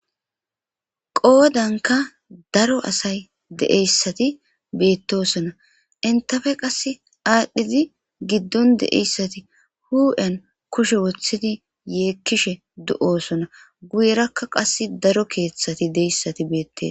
qoodanka daro asay deeyssati beettosona intafe qas aadhdhizi giddon deeyssati hu7en kushe wothidi yeekkishe do7oosona guyerakka qas daro keeththati deyssati beettee